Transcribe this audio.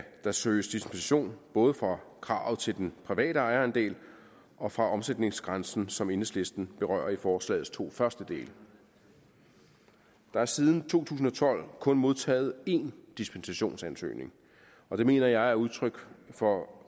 der søges dispensation både fra kravet til den private ejerandel og fra omsætningsgrænsen som enhedslisten berører i forslagets to første dele der er siden to tusind og tolv kun modtaget én dispensationsansøgning og det mener jeg er udtryk for at